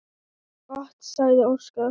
Gott, sagði Óskar.